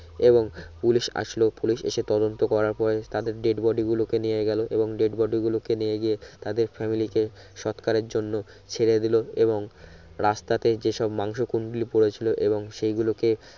এবং পুলিশ আসলো পুলিশ এসে তদন্ত করার পরে তাদের death body গুলোকে নিয়ে গেলো এবং death body গুলোকে নিয়ে গিয়ে তাদের family কে সৎকারে জন্য ছেড়ে দিলো এবং রাস্তাতে যেসব মাংস কুন্ডলি পরে ছিলো এবং সে গুলো কে